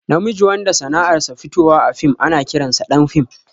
Na miji wanda sanar sa fitowa a fim ana ƙiran sa ɗan fim